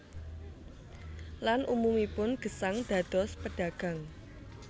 Lan umumipun gesang dados pedagang